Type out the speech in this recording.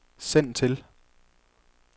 send til